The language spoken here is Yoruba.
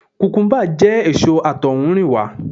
Kukumuba jẹ́ èso àtohunrìnwa.